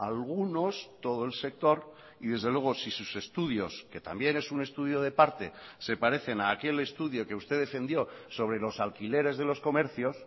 algunos todo el sector y desde luego si sus estudios que también es un estudio de parte se parecen a aquel estudio que usted defendió sobre los alquileres de los comercios